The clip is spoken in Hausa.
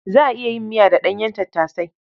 Za a iya yin miya da ɗanyen tattasai.